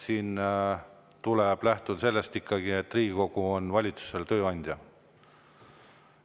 Tuleb lähtuda ikkagi sellest, et Riigikogu on valitsuse tööandja.